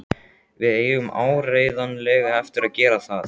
Við eigum áreiðanlega eftir að gera það.